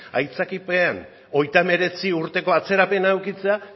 aitzakiapean hogeita hemeretzi urteko atzerapena edukitzea